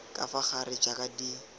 ka fa gare jaaka di